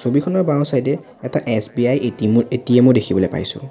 ছবিখনৰ বাওঁ চাইড এ এটা এছ_বি_আই এ_টি_এম ও এ_টি_এম ও দেখিবলৈ পাইছোঁ।